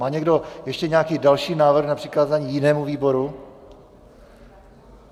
Má někdo ještě nějaký další návrh na přikázání jinému výboru?